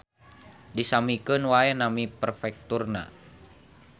Disamikeun wae nami perfekturna